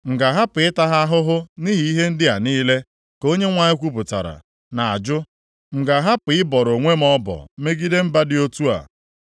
M ga-ahapụ ịta ha ahụhụ nʼihi ihe ndị a niile?” ka Onyenwe anyị kwupụtara, na-ajụ. “M ga-ahapụ ịbọrọ onwe m ọbọ megide mba dị otu a?